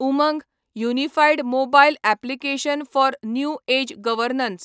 Umang unified mobile application for new age governance